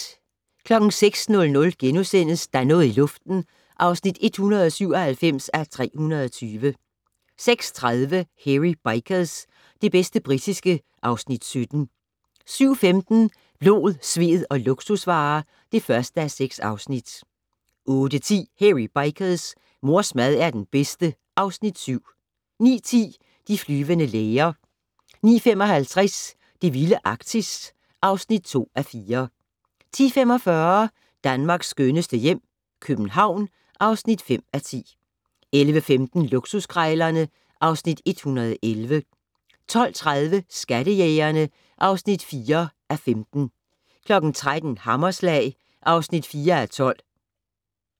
06:00: Der er noget i luften (197:320)* 06:30: Hairy Bikers - det bedste britiske (Afs. 17) 07:15: Blod, sved og luksusvarer (1:6) 08:10: Hairy Bikers: Mors mad er den bedste (Afs. 7) 09:10: De flyvende læger 09:55: Det vilde Arktis (2:4) 10:45: Danmarks skønneste hjem - København (5:10) 11:15: Luksuskrejlerne (Afs. 111) 12:30: Skattejægerne (4:15) 13:00: Hammerslag (4:12)